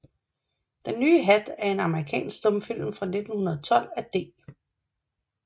Den nye Hat er en amerikansk stumfilm fra 1912 af D